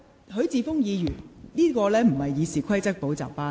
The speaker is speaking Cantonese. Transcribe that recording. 許智峯議員，現在並非《議事規則》補習班。